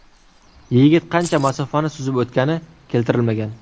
Yigit qancha masofani suzib o‘tgani keltirilmagan.